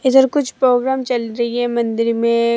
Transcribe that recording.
इधर कुछ प्रोग्राम चल रही है मंदिर में।